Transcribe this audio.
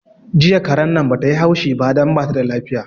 Jiya karen nan bata yi haushi ba don bata da lafiya